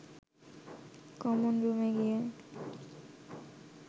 common রুমে গিয়ে